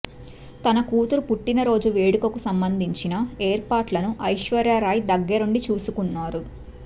తన కూతురు పుట్టినరోజు వేడుకకు సంబంధించిన ఏర్పాట్లను ఐశ్వర్యరాయ్ దగ్గరుండి చూసుకున్నారు